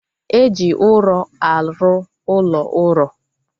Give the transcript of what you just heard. Eji ụrọ arụ ụlọ uro